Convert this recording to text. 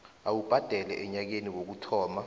awubhadele enyakeni wokuhlola